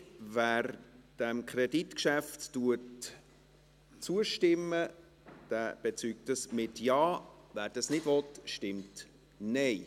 Wer diesem Kreditgeschäft zustimmt, bezeugt dies mit einem Ja, wer dies nicht will, stimmt Nein.